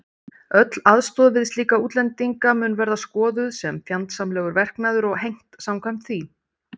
Öll aðstoð við slíka útlendinga mun verða skoðuð sem fjandsamlegur verknaður og hegnt samkvæmt því.